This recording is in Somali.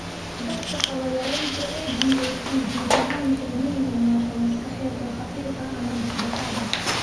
Dadka qaba yaraanta AGAT guud ahaan waxay leeyihiin naafo maskaxeed oo khafiif ah ama dhexdhexaad ah.